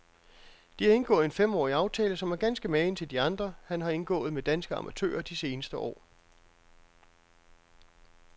De har indgået en femårig aftale, som er ganske magen til de andre, han har indgået med danske amatører de seneste år.